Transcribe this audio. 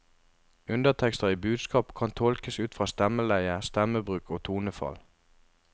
Undertekster i budskap kan tolkes ut fra stemmeleie, stemmebruk og tonefall.